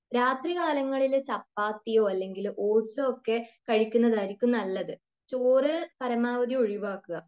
രാത്രി കാലങ്ങളിൽ ചപ്പാത്തിയോ അല്ലെങ്കിൽ ഫ്രൂട്സ് ഒക്കെയോ കഴിക്കുന്നതായിരിക്കും നല്ലത്. ചോറ് പരമാവധി ഒഴിവാക്കുക